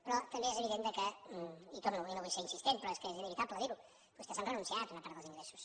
però també és evident que hi torno i no vull ser insistent però és que és inevitable dir ho vostès han renunciat a una part dels ingressos